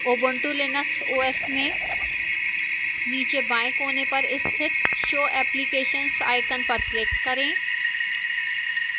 ubuntu linux os में नीचे बाएं कोने पर स्थित show applications icon पर click करें